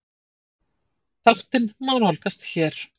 Þáttinn má nálgast hér